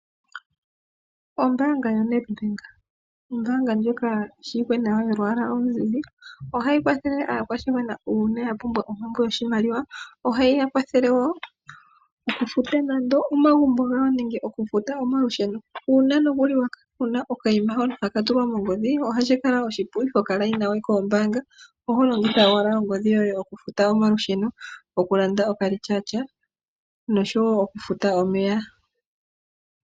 Ombaanga yaNedbank, ombaanga ndjoka yi shiwike nawa yolwaala oluzizi. Ohayi kwathele aakwashigwana uuna ye na ompumbwe yoshimaliwa. Ohayi kwathele wo okufuta nando omagumbo gawo nenge okufuta omalusheno. Uuna nokuli wa kala wu na okayima hono haka tulwa mongodhi ohashi kala oshipu, iho yi we momikweyo dhombaanga, oho longitha owala ongodhi yoye okufuta omalusheno, okulanda okalityaatya noshowo okufuta omeya.